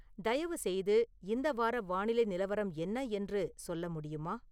தயவுசெய்து இந்த வார வானிலை நிலவரம் என்ன என்று சொல்ல முடியுமா